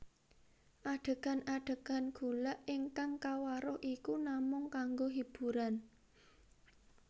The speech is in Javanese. Adégan adégan gulak ingkang kawaruh iku namung kanggo hiburan